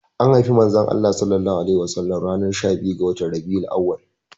Anhaifi manzon Allah sallallahu alaihi wasallam ranar shabiyu ga watan Rabi'ul auwal.